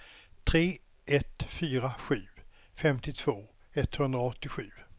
tre ett fyra sju femtiotvå etthundraåttiosju